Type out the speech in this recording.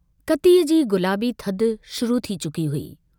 कतीअ जी गुलाबी थधि शुरू थी चुकी हुई।